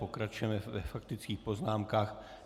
Pokračujeme ve faktických poznámkách.